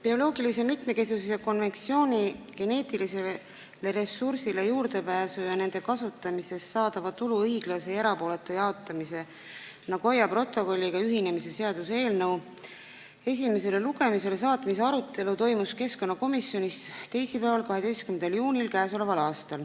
Bioloogilise mitmekesisuse konventsiooni geneetilistele ressurssidele juurdepääsu ja nende kasutamisest saadava tulu õiglase ja erapooletu jaotamise Nagoya protokolliga ühinemise seaduse eelnõu esimesele lugemisele saatmise arutelu toimus keskkonnakomisjonis teisipäeval, 12. juunil.